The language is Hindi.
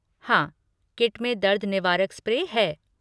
हाँ, किट में दर्द निवारक स्प्रे है।